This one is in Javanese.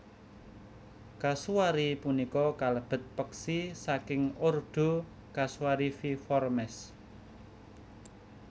Kasuari punika kalebet peksi saking ordo Casuariiformes